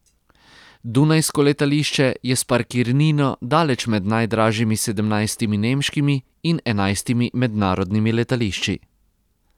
Dunajsko letališče je s parkirnino daleč med najdražjimi sedemnajstimi nemškimi in enajstimi mednarodnimi letališči.